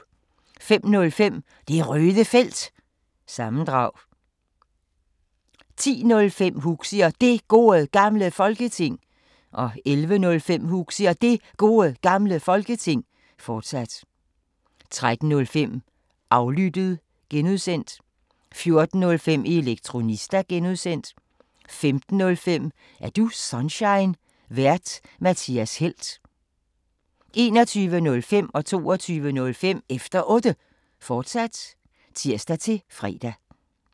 05:05: Det Røde Felt – sammendrag 10:05: Huxi og Det Gode Gamle Folketing 11:05: Huxi og Det Gode Gamle Folketing, fortsat 13:05: Aflyttet (G) 14:05: Elektronista (G) 15:05: Er du Sunshine? Vært:Mathias Helt 21:05: Efter Otte, fortsat (tir-fre) 22:05: Efter Otte, fortsat (tir-fre)